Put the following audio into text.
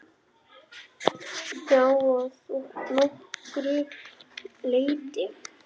Já, að nokkru leyti.